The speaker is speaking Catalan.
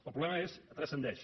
el problema transcendeix